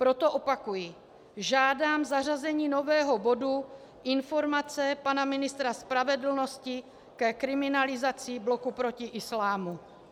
Proto opakuji: žádám zařazení nového bodu Informace pana ministra spravedlnosti ke kriminalizaci Bloku proti islámu.